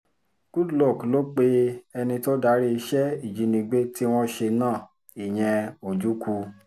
goodluck ló pe ẹni tó darí iṣẹ́ ìjínigbé tí wọ́n ṣe náà ìyẹn ojukwu